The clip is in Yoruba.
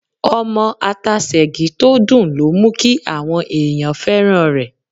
Ọmọ ata Sègí tó dùn ló mú kí àwọn èèyàn fẹ́ràn rẹ̀.